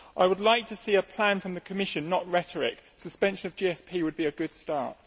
I would like to see a plan from the Commission, not rhetoric. Suspension of GSP would be a good start.